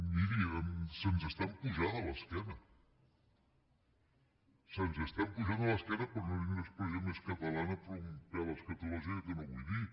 miri se’ns estan pujant a l’esquena se’ns estan pujant a l’esquena per no dir una expressió més catalana però un pèl escatològica que no vull dir